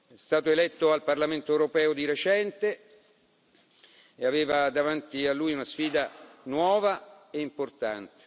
È stato eletto al Parlamento europeo di recente e aveva davanti a lui una sfida nuova e importante.